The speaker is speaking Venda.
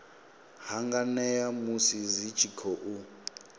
hanganea musi dzi tshi khou